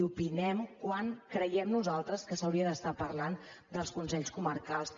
opinem sobre quan creiem nosaltres que s’hauria de parlar dels consells comarcals